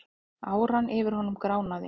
Áran yfir honum gránaði.